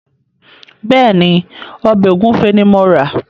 Bẹ́ẹ̀ ni, ọbẹ̀ ògúnfe ni mo rà.